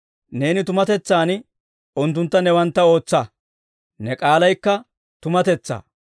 Neeni tumatetsaan unttuntta newantta ootsa; ne k'aalaykka tumatetsaa.